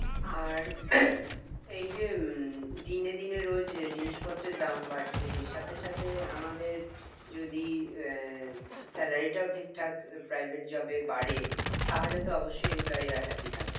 আর এইযে উম দিনে দিনে রোজ জিনিস পত্রের দাম বাড়ছে এর সাথে সাথে আমাদের যদি আহ salary টাও ঠিক ঠাক private job এ বাড়ে তাহলে তো অবশ্যই employee রা happy থাকবে